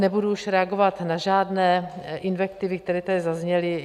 Nebudu už reagovat na žádné invektivy, které tady zazněly.